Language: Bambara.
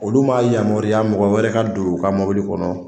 Olu ma yamaruya mɔgɔ wɛrɛ ka don u ka mɔbili kɔnɔ.